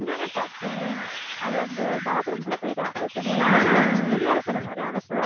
என்னென்ன பார்த்தேன் அவ அந்த பாத்ரூமுக்குள்ள போயிட்டா அந்த துணியெல்லாம் துணி அலசர மாதிரி அலசுவா